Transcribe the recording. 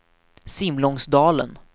Simlångsdalen